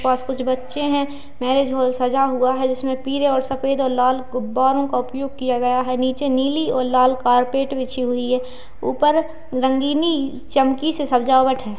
पास कुछ बच्चे है मैरिज हॉल सजा हुआ है जिसमें पीले और सफेद और लाल गुब्बारों का उपयोग किया गया है नीचे नीली और लाल कारपेट बिछी हुई है ऊपर रंगीनी चमकी से सजावट है।